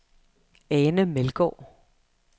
Ane Meldgaard